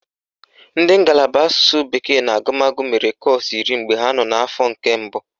Ndị ngalaba asụsụ bekee na agụmagụ mere kọ́ọ̀sụ̀ iri mgbe ha nọ n'afọ nke mbụ